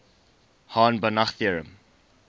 hahn banach theorem